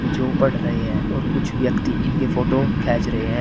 जो पढ़ रहे हैं और कुछ व्यक्ति उनके फोटो खींच रहे हैं।